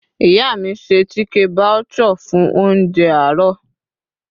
ìyá mi ṣe chike bhature fún ounjẹ àárò